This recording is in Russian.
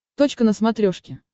точка на смотрешке